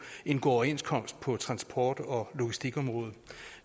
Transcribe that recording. at indgå overenskomst på transport og logistikområdet